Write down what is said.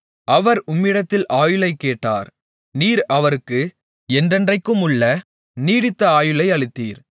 அவர் உம்மிடத்தில் ஆயுளைக்கேட்டார் நீர் அவருக்கு என்றென்றைக்குமுள்ள நீடித்த ஆயுளை அளித்தீர்